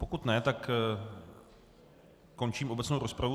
Pokud ne, tak končím obecnou rozpravu.